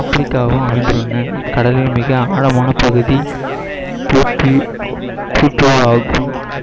ஆப்பிரிக்காவும் அமைந்துள்ளன இக்கடலில் மிக ஆழமான பகுதி